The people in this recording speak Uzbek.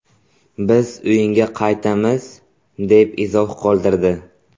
Biz o‘yinga qaytamiz”, deb izoh qoldirdi .